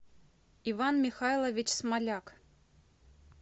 иван михайлович смоляк